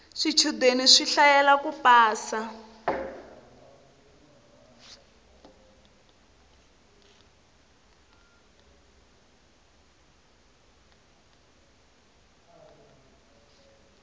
swichudeni swi hlayela ku pasa